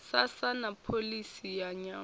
sasa na pholisi ya nyambo